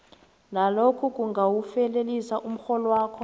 nalokhu kungawufelelisa umrholwakho